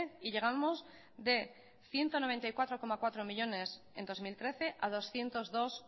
y llegamos de ciento noventa y cuatro coma cuatro millónes en dos mil trece a doscientos dos